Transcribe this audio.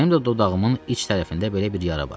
Mənim də dodağımın iç tərəfində belə bir yara vardı.